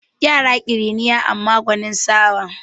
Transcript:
Yara ƙiriniya amma kuma gwanin sa'awa